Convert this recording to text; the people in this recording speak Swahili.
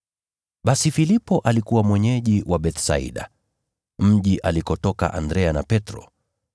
Basi Filipo alikuwa mwenyeji wa Bethsaida, mji alikotoka Andrea na Petro.